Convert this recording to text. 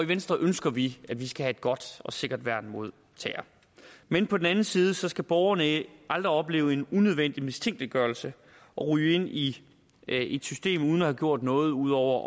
venstre ønsker at vi skal have et godt og sikkert værn mod terror men på den anden side skal borgerne aldrig opleve en unødvendig mistænkeliggørelse og ryge ind i et system uden at have gjort noget ud over